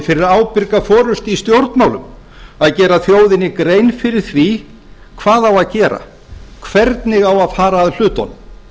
fyrir ábyrga forustu í stjórnmálum að gera þjóðinni grein fyrir því hvað á að gera hvernig á að fara að hlutunum